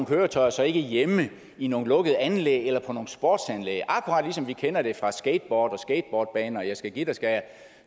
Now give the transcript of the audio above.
køretøjer så ikke hjemme i nogle lukkede anlæg eller på nogle sportsanlæg akkurat ligesom vi kender det fra skateboard og skateboardbaner og jeg skal give dig skal